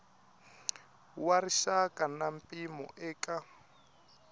wa rixaka na mpimo eka